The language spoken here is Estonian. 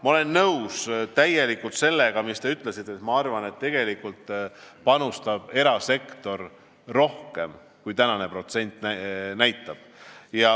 Ma olen täielikult nõus sellega, mis te ütlesite, ja ma arvan, et tegelikult panustab erasektor rohkem, kui tänane protsent näitab.